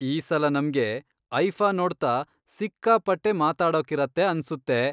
ಈ ಸಲ ನಮ್ಗೆ ಐಫಾ ನೋಡ್ತಾ ಸಿಕ್ಕಾಪಟ್ಟೆ ಮಾತಾಡೋಕಿರತ್ತೆ ಅನ್ಸುತ್ತೆ.